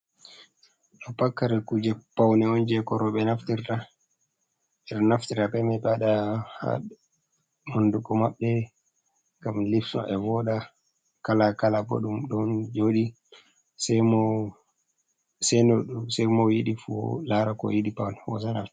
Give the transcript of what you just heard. Ɗo pat karl kuje paune on je ko rewɓe naftir ta, je onnaftira beman ɓewaɗa ha hunduko mabbe ngam lips maɓɓe voda, kala kala boddum don jodi semo seno semo yidi fu lara ko yidi paunu go hosa nafti.